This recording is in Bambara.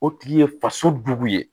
O tigi ye faso jugu ye